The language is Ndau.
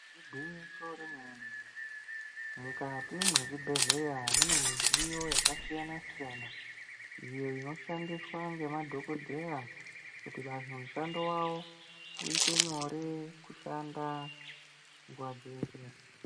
Igwinyiso remene-mene, mukati mwezvibhedhleya mune midziyo yakasiyana-siyana. Iyo inoshandiswa ngemadhogodheya kuti vantu mushando vavo uite nyore kushanda nguva dzeshe.